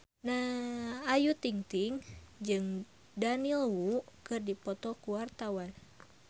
Ayu Ting-ting jeung Daniel Wu keur dipoto ku wartawan